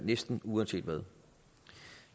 næsten uanset hvad